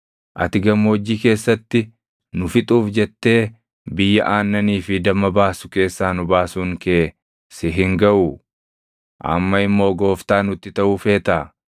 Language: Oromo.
Ati gammoojjii keessatti nu fixuuf jettee biyya aannanii fi damma baasu keessaa nu baasuun kee si hin gaʼuu? Amma immoo gooftaa nutti taʼuu feetaa?